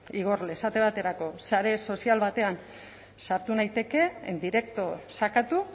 igorle esate baterako sare sozial batean sartu naiteke en directo sakatu